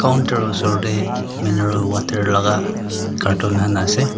counter oshor teh mineral water laga carton khan ase.